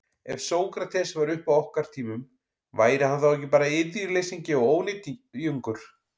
Ef Sókrates væri uppi á okkar tímum, væri hann þá ekki bara iðjuleysingi og ónytjungur?